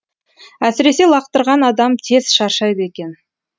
әсіресе лақтырған адам тез шаршайды екен